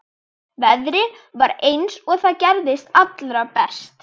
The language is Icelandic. Veðrið var eins og það gerist allra best.